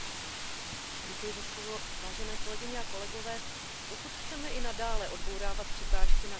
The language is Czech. Pokud chceme i nadále odbourávat překážky na vnitřním trhu, jednou z oblastí musí být i profesní mobilita.